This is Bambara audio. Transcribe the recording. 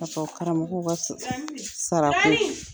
A fɔ karamɔgɔw ka sara ko ?